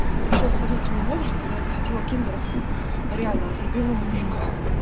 пришёл сознательный возраст когда я захотела киндеров реально от любимого мужика